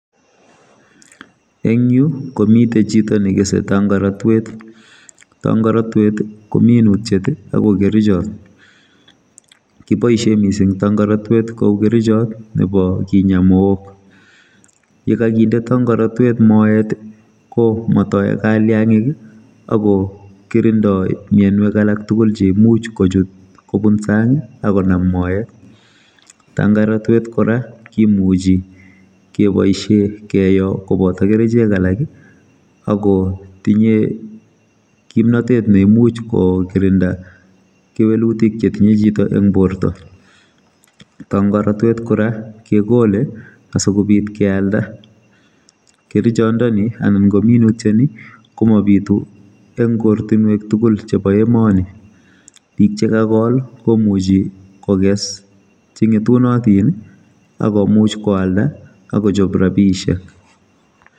Eng komiteen chitoo nekesei tangaratweet , tangaratweet ii ko minutiet ako kerchaat, kiboisien missing tangaratweet ko uu kerchaat nebo kinyaa Moog ye kagindei tangaratweet moet, ko matae kaliangiik ii ako kirinda mianwagik alaak tuguul cheimuuch kochuut kobuun saang ii agonam moet , tangaratweet kora kimuchei kebaisheen keyoo kobata kercheek alaak ii ako tinye kimnatet neimuuch ko kirindaa kewelutiik che tinyei chitoo en bortoo , tangaratweet kora kegole asikobiit keyalda ,kerchaat ndeni anan ko minutiet komabituu eng ortinweek tuguul chebo emanii, biik che kagool ii komuchii kogees ,che ngetunatiin akomuuch koyaldaa akochaap rapisheek.